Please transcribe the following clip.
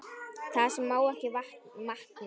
Það sem má ekki vanta!